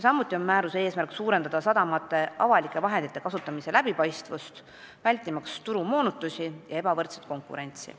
Samuti on määruse eesmärk muuta sadamate avalike vahendite kasutamine läbipaistvamaks, vältimaks turumoonutusi ja ebavõrdset konkurentsi.